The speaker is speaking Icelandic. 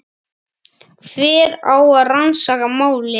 Hver á að rannsaka málið?